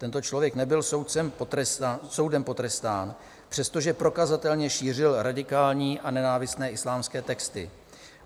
Tento člověk nebyl soudem potrestán, přestože prokazatelně šířil radikální a nenávistné islámské texty.